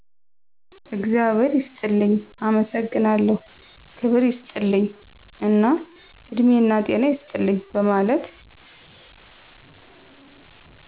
እግዛብሔር ይስጥልኝ፣ አመሠግናለሁ፣ ክብር ይስጥልኝ እና እድሜናጤና ይስጥልን በመለት